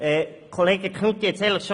Kollege Knutti hat es bereits erwähnt: